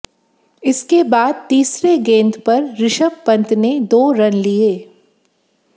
इसके बाद तीसरे गेंद पर ऋषभ पंत ने दो रन लिए